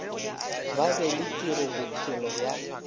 ba be le tirobophelo ya